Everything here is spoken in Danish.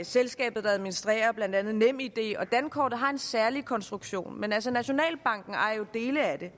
selskabet der administrerer blandt andet nemid og dankortet har en særlig konstruktion men altså nationalbanken ejer jo dele af det